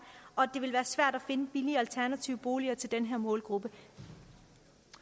og at det vil være svært at finde billige alternative boliger til den her målgruppe